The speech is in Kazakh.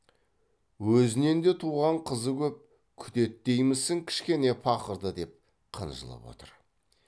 өзінен де туған қызы көп күтеді деймісің кішкене пақырды деп қынжылып отыр